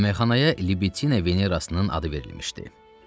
Yeməkxanaya Libitina Venerasının adı verilmişdi.